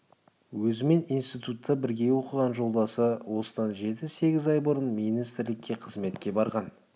өзімен институтта бірге оқыған жолдасы осыдан жеті-сегіз ай бұрын министрлікке қызметке барған